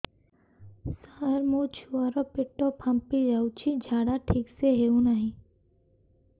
ସାର ମୋ ଛୁଆ ର ପେଟ ଫାମ୍ପି ଯାଉଛି ଝାଡା ଠିକ ସେ ହେଉନାହିଁ